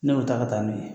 Ne y'o ta ka taa n'o ye